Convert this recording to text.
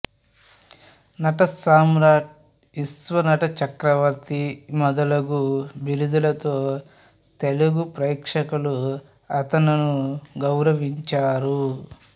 నటసామ్రాట్ విశ్వనట చక్రవర్తి మొదలగు బిరుదులతో తెలుగు ప్రేక్షకులు అతను్ను గౌరవించారు